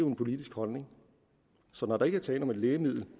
en politisk holdning så når der ikke er tale om et lægemiddel